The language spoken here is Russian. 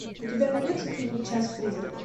у тебя найдется фильм час призраков